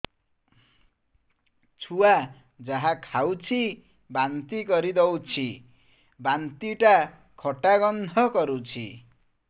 ଛୁଆ ଯାହା ଖାଉଛି ବାନ୍ତି କରିଦଉଛି ବାନ୍ତି ଟା ଖଟା ଗନ୍ଧ କରୁଛି